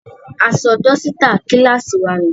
A sọ dọ́sítà kíláàsì wa nù.